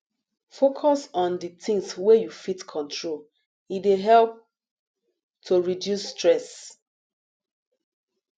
focus on di things wey you fit control e dey help to reduce stress